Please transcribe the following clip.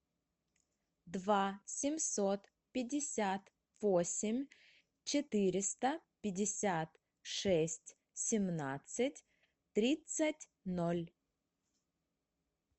два семьсот пятьдесят восемь четыреста пятьдесят шесть семнадцать тридцать ноль